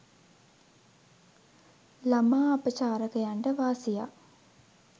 ළමා අපචාරකයන්ට වාසියක්